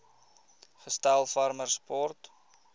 gestel farmer support